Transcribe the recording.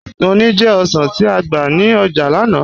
Mọ̀ ní jẹ̀ ọ̀ṣàn ti á gba ní ọ́jà lánà